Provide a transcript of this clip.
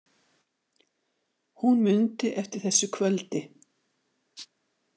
Hún mundi eftir þessu kvöldi.